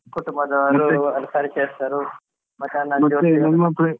ಮತ್ತೆ ಕುಟುಂಬದವರು ಪರಿಚಯಸ್ತರು .